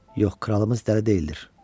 Yox, kralımız dəli deyildir.